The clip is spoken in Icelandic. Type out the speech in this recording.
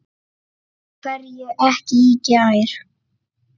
Af hverju ekki í gær?